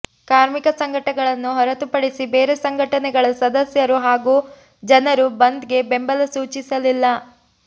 ಕಾರ್ಮಿಕ ಸಂಘಟನೆಗಳನ್ನು ಹೊರತುಪಡಿಸಿ ಬೇರೆ ಸಂಘಟನೆಗಳ ಸದಸ್ಯರು ಹಾಗೂ ಜನರು ಬಂದ್ಗೆ ಬೆಂಬಲ ಸೂಚಿಸಲಿಲ್ಲ